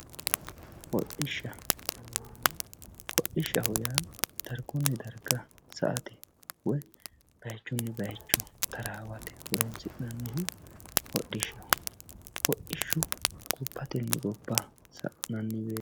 Hoodhisha yaamamano hoodhishaho yaa daargunni daariga saatte woyyi bayichunni bayicho tarawatte horonsina'nihu hoodhishaho hodhishu gobbatenni gobba sananni woyitte